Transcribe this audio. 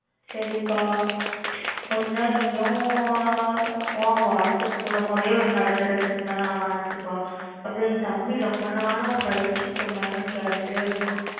சரிப்பா உம் முடிஞ்சா நீயும் உன் WhatsApp மூலமாவே ஒரு நல்ல dress இருந்தா நாலு அனுப்புப்பா அப்புறம் என் தம்பி ரொம்பநாளா fried chicken வேணும்னு கேட்டுட்டு இருக்கான்.